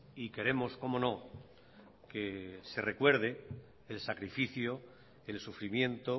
y queremos cómo no que se recuerde el sacrificio el sufrimiento